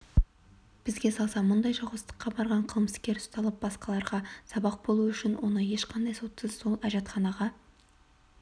бізге салса мұндай жауыздыққа барған қылмыскер ұсталып басқаларға сабақ болуы үшін оны ешқандай сотсыз сол әжетханаға